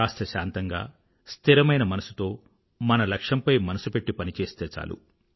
కాస్త శాంతంగా స్థిరమైన మనసుతో మన లక్ష్యంపై మనసు పెట్టి పనిచేస్తే చాలు